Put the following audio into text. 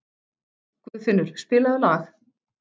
Guðfinnur, spilaðu lag.